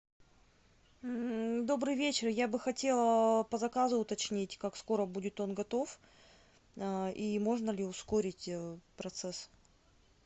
добрый вечер я бы хотела по заказу уточнить как скоро будет он готов и можно ли ускорить процесс